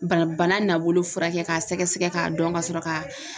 Bana bana nabolo furakɛ k'a sɛgɛsɛgɛ k'a dɔn ka sɔrɔ ka